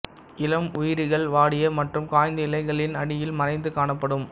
இளம் உயிரிகள் வாடிய மற்றும் காய்ந்த இலைகளின் அடியில் மறைந்து காணப்படும்